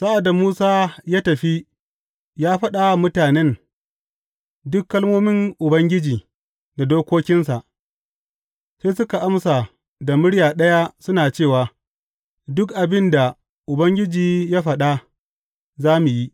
Sa’ad da Musa ya tafi ya faɗa wa mutanen duk kalmomin Ubangiji da dokokinsa, sai suka amsa da murya ɗaya suna cewa, Duk abin da Ubangiji ya faɗa, za mu yi.